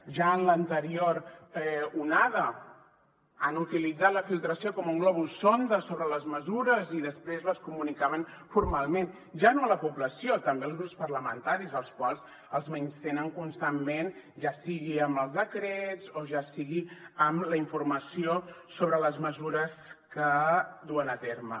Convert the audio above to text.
ja en l’anterior onada han utilitzat la filtració com un globus sonda sobre les mesures i després les comunicaven formalment ja no a la població també als grups parlamentaris als quals els menystenen constantment ja sigui amb els decrets o ja sigui amb la informació sobre les mesures que duen a terme